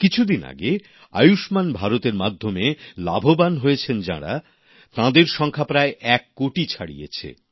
কিছুদিন আগে আয়ুষ্মান ভারত এর মাধ্যমে লাভবান হয়েছেন যারা তাদের সংখ্যা প্রায় এক কোটি ছাড়িয়েছে